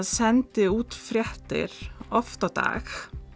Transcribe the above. sendi út fréttir oft á dag